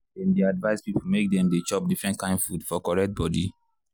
dem dey advice people make dem dey chop different kain food for correct body.